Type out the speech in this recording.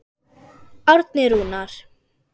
Árni Rúnar.